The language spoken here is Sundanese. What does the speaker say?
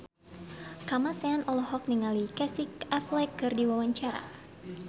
Kamasean olohok ningali Casey Affleck keur diwawancara